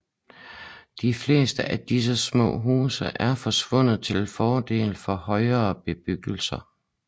De fleste af disse små huse er forsvundet til fordel for højere bebyggelse